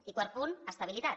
i quart punt estabilitat